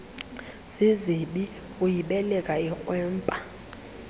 zizibi uyibeleka ikrwempa